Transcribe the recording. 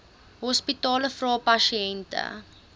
hospitale vra pasiënte